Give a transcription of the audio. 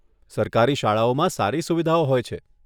સરકારી શાળાઓમાં સારી સુવિધાઓ હોય છે.